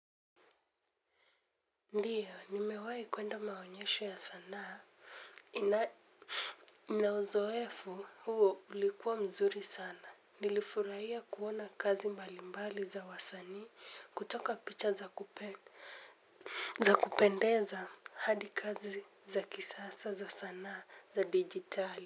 Ndiyo, nimewahi kuenda maonyesho ya sanaa. Na uzoefu huo ulikuwa mzuri sana. Nilifurahia kuona kazi mbalimbali za wasanii kutoka picha za kupendeza hadi kazi za kisasa za sanaa za dijitali.